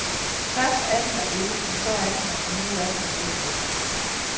Først er den der ikke, så er den der og nu er den væk igen.